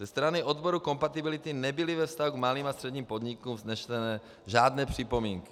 Ze strany odboru kompatibility nebyly ve vztahu k malým a středním podnikům vzneseny žádné připomínky.